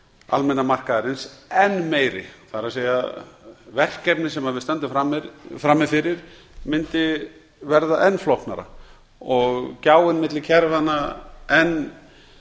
almenna markaðarins enn meiri það er verkefnið sem við stöndum frammi fyrir mundi verða enn flóknara og gjáin milli kerfanna enn